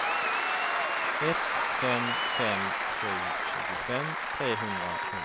ett fem fem sju tjugofem trehundrasju